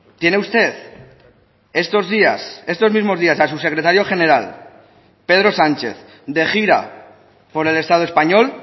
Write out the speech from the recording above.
tiene usted estos días estos mismos días a su secretario general pedro sánchez de gira por el estado español